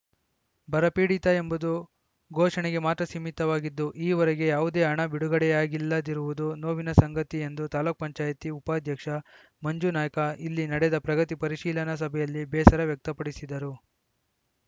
ಬರ ಪೀಡಿತ ಎಂಬುದು ಘೋಷಣೆಗೆ ಮಾತ್ರ ಸೀಮಿತವಾಗಿದ್ದು ಈವರೆಗೂ ಯಾವುದೇ ಹಣ ಬಿಡುಗಡೆಯಾಗಿಲ್ಲದಿರುವುದು ನೋವಿನ ಸಂಗತಿ ಎಂದು ತಾಲೂಕ್ ಪಂಚಾಯತಿ ಉಪಾಧ್ಯಕ್ಷ ಮಂಜನಾಯ್ಕ ಇಲ್ಲಿ ನಡೆದ ಪ್ರಗತಿ ಪರಿಶೀಲನಾ ಸಭೆಯಲ್ಲಿ ಬೇಸರ ವ್ಯಕ್ತಪಡಿಸಿದರು